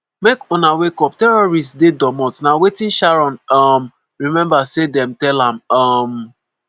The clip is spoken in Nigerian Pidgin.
make una wake up terrorists dey domot' na wetin sharon um remember say dem tell am. um